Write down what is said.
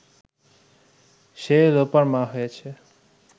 সে লোপার মা হয়েছে